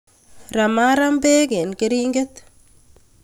Ramaaram beek eng keringet